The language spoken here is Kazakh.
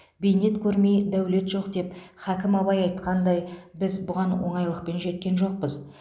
бейнет көрмей дәулет жоқ деп хакім абай айтқандай біз бұған оңайлықпен жеткен жоқпыз